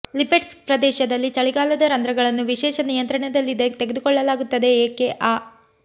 Lipetsk ಪ್ರದೇಶದಲ್ಲಿ ಚಳಿಗಾಲದ ರಂಧ್ರಗಳನ್ನು ವಿಶೇಷ ನಿಯಂತ್ರಣದಲ್ಲಿದೆ ತೆಗೆದುಕೊಳ್ಳಲಾಗುತ್ತದೆ ಏಕೆ ಆ